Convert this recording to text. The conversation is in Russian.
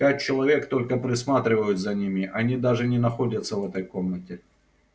пять человек только присматривают за ними они даже не находятся в этой комнате